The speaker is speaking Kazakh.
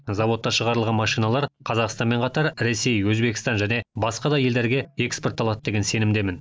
зауытта шығарылған машиналар қазақстанмен қатар ресей өзбекстан және басқа да елдерге экспортталады деген сенімдемін